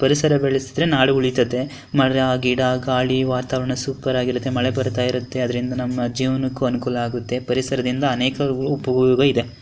ಪರಿಸರ ಬೆಳಿಸ್ದರ್ ನಾಡು ಉಳಿತದೆ ಮರ ಗಿಡ ಗಾಳಿ ವಾತಾವರಣ ಸೂಪರ್ ಆಗಿ ಇರುತ್ತೆ. ಮಳಿ ಬರ್ಥ ಇರುತ್ತೆ ಅಂದ್ರಿಂದ ನಮ್ಮ್ ಜೀವನಕ್ಕೂ ಅನುಕೂಲವಾಗುತ್ತೆ ಪರಿಸರದಿಂದ ಅನೇಕ ಉಪಯೋಗವಿದೇ.